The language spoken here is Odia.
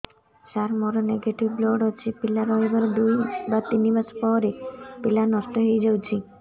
ସାର ମୋର ନେଗେଟିଭ ବ୍ଲଡ଼ ଅଛି ପିଲା ରହିବାର ଦୁଇ ତିନି ମାସ ପରେ ପିଲା ନଷ୍ଟ ହେଇ ଯାଉଛି